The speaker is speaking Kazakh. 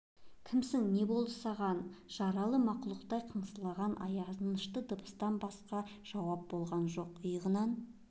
кімсің не болды саған жаралы мақұлықтай қыңсылаған аянышты дыбыстан басқа жауап болған жоқ иығынан